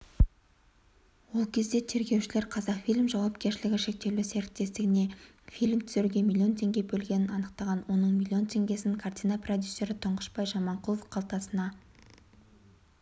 ол кезде тергеушілер қазақфильм ның жауапкершілігі шектеулі серіктестігінефильм түсіруге миллион теңге бөлгенін анықтаған оның миллион теңгесін картина продюсері тұңғышбай жаманқұлов қалтасына